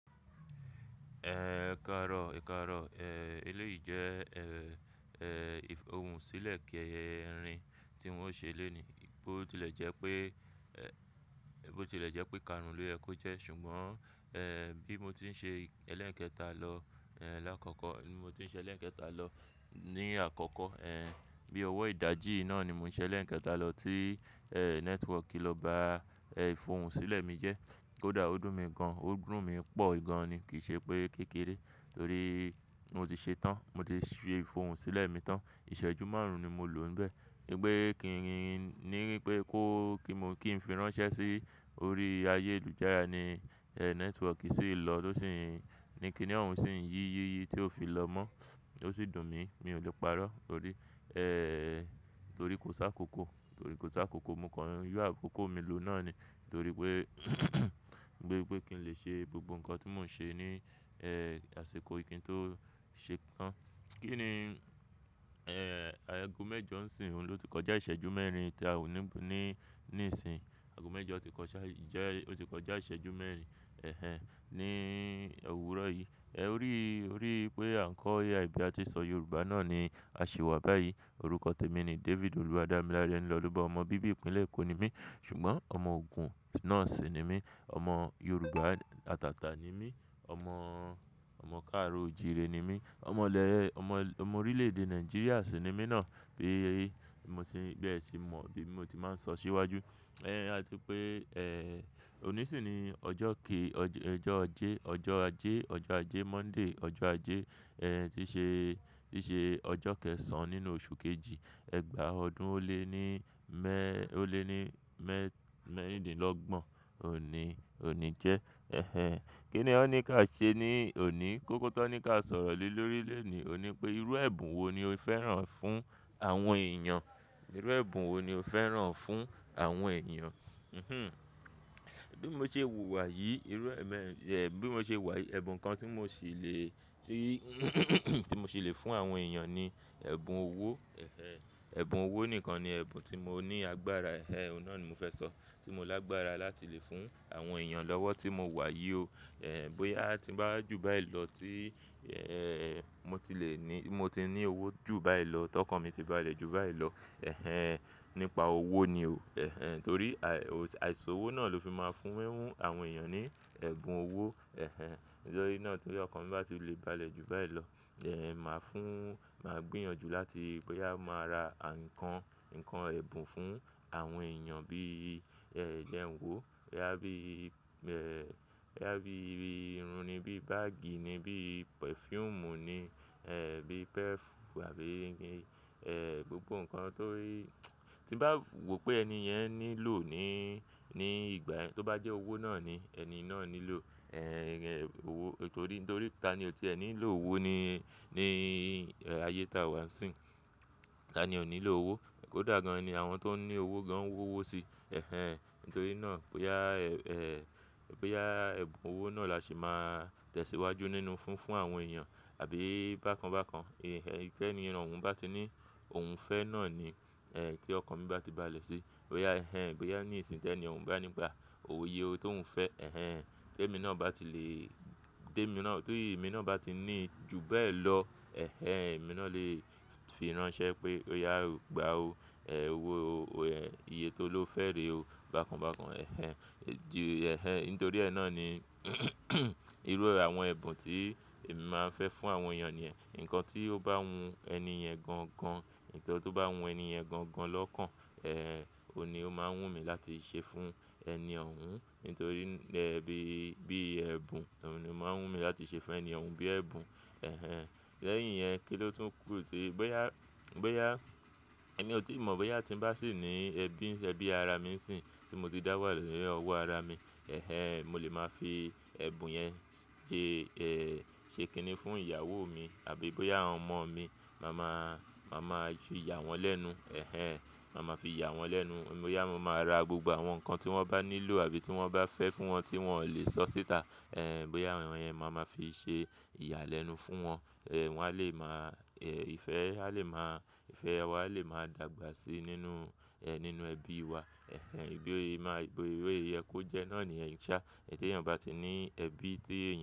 Ẹ̀ẹ̀ karọ̀, ekarọ̀. Eléyìí jẹ́, ìfòhùn sílẹ̀ kíẹ́ ẹrin tí wọ́n ṣe lónìí. Bo tilè jẹ́ pé, bo tilè jẹ́ pé ìkarun ló yẹ kó jẹ́. Ṣùgbọ́n, bí mo ti ń ṣe ẹlẹ́ẹ̀kẹ́ta lọ, lákọ̀ọ̀kọ̀, bí mo ti ń ṣe ẹlẹ́ẹ̀kẹ́ta lọ ní àkọ̀ọ̀kọ̀.bí ọwọ́ ìdajì náà ni mo ń ṣe ẹlẹ́ẹ̀kẹ́ta lọ tí, network ló ba, ìfòhùn sílẹ̀ mi jẹ́. Koda ó dùn mi gan, ó dùn mí pọ̀ gan ni kìí ṣe pé kékeré torí mo ti ṣe ẹ́ tán. Mo ti ṣe ìfòhùn sílẹ̀ mi tán. Ìṣẹ́jú márùn-ún ni mo lò níbẹ̀. Gbé kí nìyín ní pé kó kí mo kí n fi ránṣẹ́ sí orí ayélujára ni, network sì lọ tó sì ń, ní kíni òun sì ń yí yíyí tí ó fi lọ mọ́. Ó sì dùn mí, mi ò lè parọ́ torí, torí kò sá kò kó, torí kò sá kò kó. Mo kọrin yú àkókò mi lò náà ni torí pé gbégbẹ́ kí n lè ṣe gbogbo nǹkan tí mò ń ṣe ní, àsìkò ìkín tó ṣe tán. Kí ni, ago mẹ́jọ sìń oun ló ti kọjá ìṣẹ́jú mẹ́rin tí a wù ní, ní, níìsín. Ago mẹ́jọ ti kọjá ìṣẹ́, o ti kọjá ìṣẹ́jú mẹ́rin, ẹ̀hen, ní òwúrọ̀ yìí. Ẹ̀ Ori, orí pé àńkò AI bí a ti n ṣọ Yorùbá náà ni a ṣì wà báyìí. Orúkọ tèmi ni David Oluwadamilare Enilolobo. Ọmọ bíbí ìpínlẹ̀ Èkó ni mí ṣùgbọ́n ọmọ Ògùn náà sì ni mí. Ọmọ Yorùbá atàtà ni mí. Ọmọ, ọmọ káàro ojire ni mí. Ọmọ lẹ, ọmọ, ọmọ orílẹ̀ èdè Nàìjíríà sì ni mí náà bí i mo ti bẹ́ẹ̀ sì mọ̀ bí mo ti máa ń sọ síwájú. Ẹ̀ àti pé, òní sì ni ọjọ́ ke, ọjọ́ ọjẹ́, ọjọ́ ajé, ọjọ́ ajé Monday. Ọjọ́ ajé, tí ṣe, tí ṣe ọjọ́ kẹ́ẹ̀sàn-án nínú oṣù kejì, ẹgbàá ọdún ó lé ní mẹ́, ó lé ní mẹ́, mẹ́rìndínlọ́gbọ̀n òní, òní jẹ́. Ẹ̀ ẹhen. Kí ni wọ́n ní ká ṣe ní òní? Kókó tó ní ká sọ̀rọ̀ lè lórí lè ní òun ni pé irú ẹ̀bùn wo ni o fẹ́ràn fún àwọn èèyàn? Irú ẹ̀bùn wo ni o fẹ́ràn fún àwọn èèyàn? Hihm. Bí mo ṣe wùwà yìí, irú ẹmẹ, ẹ bí mo ṣe wà yìí, ẹ̀bùn kan tí mo ṣì lè, tí tí mo ṣì lè fún àwọn èèyàn ni ẹ̀bùn owó. Ẹ̀ ẹhen. Ẹ̀bùn owó nìkan ni ẹ̀bùn tí mo ní agbára. Ẹ̀ ẹhen. Òun náà ni mo fẹ́ sọ. Tí mo lágbára láti lè fún àwọn èèyàn lọ́wọ́ tí mo wà yìí o. Bóyá a ti bá jù báyìí lọ tí, mo tilè ní, mo ti ní owó jù báyìí lọ, tọkan mi ti bá lè jù báyìí lọ. Ẹ̀ ẹhen. Nípa owó ni o. Ẹ̀ ẹhen. Torí àìsòwò náà ló fi máa fúnwẹ́ mú àwọn èèyàn ní ẹ̀bùn owó. Ẹ̀ ẹhen. Nítorí náà torí ọkọ mi bá ti lè bá lè jù báyìí lọ, màá fún, màá gbìyànjú láti bóyá màá ra ǹkan, ǹkan ẹ̀bùn fún àwọn èèyàn bí, jẹ n wo. Boya bí, bí i irun ni, bí i báàgì ni, bí pẹ̀fúùmù ni, bí pẹ́ẹ́fù àbí i gbin. Ẹ̀ ẹ́ gbogbo ǹkan torí tí bá wò pé ẹni yẹn nílò ní, ní ìgbà yen tó bá jẹ́ owó náà ni ẹni náà nílò. Ẹ̀ ẹhen owó torí, torí ta ni ò ti ẹ́ nílò owó ni, ní ayé táa wa sì ń. Ta ni ò nílò owó? Kódà gan-an ni àwọn tó ń ní owó gan-an owó si. Ẹ̀ ẹhen. Nítorí náà bóyá, bóyá ẹ̀bùn owó náà la ṣe máa tẹ̀síwájú nínú fúnfún àwọn èèyàn àbí i bákan bákan. Ẹ̀ ẹhen. Kí ẹni ìran òun bá ti ní òun fẹ́ náà nití ọkọ mi bá ti báàlẹ̀ sí. Bóyá ẹhen, bóyá ní ìsìn tí ẹni òun bá nígbà òwe yíò tó òun fẹ́. Ẹ̀ ẹhen. Tí èmi náà bá ti lè, tí èmi náà, torí èmi náà bá ti ní ju bẹ́ẹ̀ lọ. Ẹ̀ ẹhen. Èmi náà lè fi ránṣẹ́ pé óyá gba o, ẹ́ẹ̀ owó o, iyẹ́ tó ló fẹ́rẹ̀ o bákan bákan. Ẹ̀ ẹhen. Ẹhen nítorí ẹ́ náà ni irú àwọn ẹ̀bùn tí èmi máa ń fẹ́ fún àwọn èèyàn ni ǹkan tí ó bá hun ẹni ẹ̀ gan-an gan. Nkan tó bá hun ẹni yen gan-an gan lọ́kàn. Ẹ̀ ẹhen. Ó ni ó máa ń wù mí láti ṣe fún ẹni òun nítorí ẹbí bí ẹ̀bùn òun ni ó máa ń wù mí láti ṣe fún ẹni òun bí ẹ̀bùn. Ẹ̀ ẹhen. Lẹ́yìn yẹn kí ló tún kù tí bóyá, bóyá èmi ò tí mọ̀ bóyá tí ń bá sì ní ẹbí, ẹbí ara mi sì n sì tí mo ti dá wà ni ọwọ́ ara mi. Ẹ̀ ẹhen. Mo lè máa fi ẹ̀bùn yẹn ṣe, ṣe kíni fún ìyàwó mi àbí i bóyá àwọn ọmọ mi mà má, mà má ju ìyà wọn lẹ́nu. Ẹ̀ ẹhen. Mà má fi ìyà wọn lẹ́nu. Bóyá mo máa ra gbogbo àwọn nǹkan tí wọ́n bá nílò àbí tí wọ́n bá fẹ́ fún wọn tí wọn ò lè sọ síta. Ẹ̀ ẹhen. Bóyá àwọn yẹn mà máa fi ṣe ìyà lẹ́nu fún wọn. Ẹ̀ wọn a lè máa, ẹ́ ìfẹ́ a lè máa, ìfẹ́ wa a lè máa dàgbà síi nínú, nínú ẹbí wa. Ẹ̀ ẹhen. Bíi o máa gbo eyẹ kó jẹ́ náà niyen ṣá. Tí èèyàn bá ti ní ẹbí tí èèyàn.